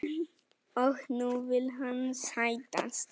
Og nú vill hann sættast?